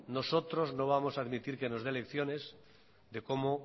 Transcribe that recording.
nosotros no vamos a admitir que nos dé lecciones de cómo